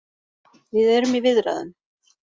Við erum í viðræðum